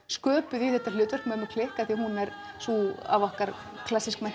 sköpuð í þetta hlutverk mömmu klikk af því að hún er sú af okkar